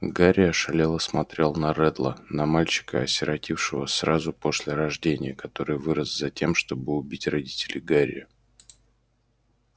гарри ошалело смотрел на реддла на мальчика осиротевшего сразу после рождения который вырос затем чтобы убить родителей гарри